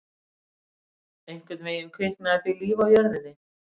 Einhvern veginn kviknaði því líf á jörðinni.